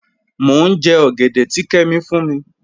Mọ̀ n jẹ́ ogẹ̀dẹ̀ tì Kẹ́mí fún mi.